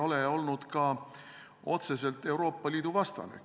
Ma ei ole olnud ka otseselt Euroopa Liidu vastane.